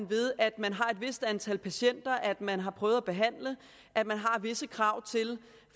ved at man har et vist antal patienter at man har prøvet at behandle og at man har visse krav